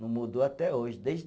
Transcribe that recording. Não mudou até hoje, desde